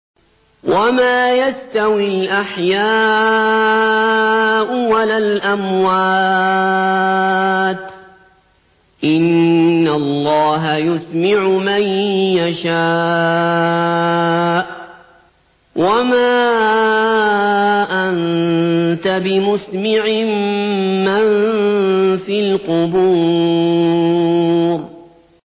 وَمَا يَسْتَوِي الْأَحْيَاءُ وَلَا الْأَمْوَاتُ ۚ إِنَّ اللَّهَ يُسْمِعُ مَن يَشَاءُ ۖ وَمَا أَنتَ بِمُسْمِعٍ مَّن فِي الْقُبُورِ